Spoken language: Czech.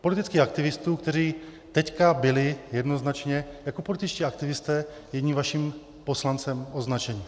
Politických aktivistů, kteří teď byli jednoznačně jako političtí aktivisté jedním vaším poslancem označeni.